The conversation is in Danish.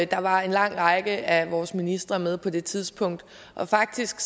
der var en lang række af vores ministre med på det tidspunkt faktisk